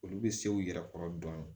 Olu bɛ se u yɛrɛ kɔrɔ dɔɔnin